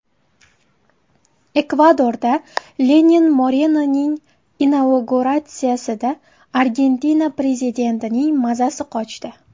Ekvadorda Lenin Morenoning inauguratsiyasida Argentina prezidentining mazasi qochdi.